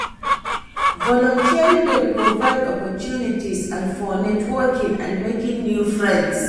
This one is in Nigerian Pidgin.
Volunteering dey provide opportunties and for networking and making new friends.